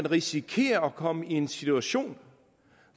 risikerer at komme i en situation